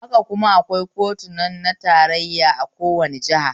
Haka kuma akwai kotunan tarayya a kowane jiha